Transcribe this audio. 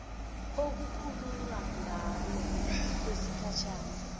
okukhulunywa ngalo kusigatshana